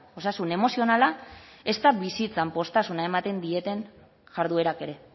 osasun emozionala ezta bizitzan poztasuna ematen dieten jarduerak ere